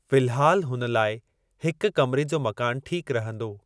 फिल्हाल हुन लाइ हिक कमरे जो मकान ठीक रहंदो।